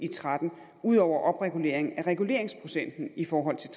tretten ud over opregulering af reguleringsprocenten i forhold til